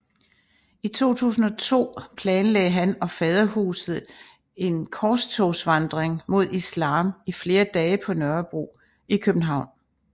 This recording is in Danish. I 2002 planlagde han og Faderhuset en korstogsvandring mod islam i flere dage på Nørrebro i København